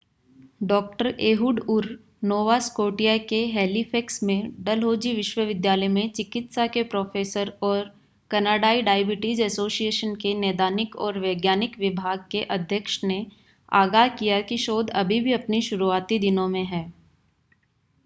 डॉ. Ehud Ur Nova Scotia के Halifax में डलहौज़ी विश्वविद्यालय में चिकित्सा के प्रोफ़ेसर और कनाडाई डायबिटीज़ एसोसिएशन के नैदानिक ​​और वैज्ञानिक विभाग के अध्यक्ष ने आगाह किया कि शोध अभी भी अपने शुरुआती दिनों में है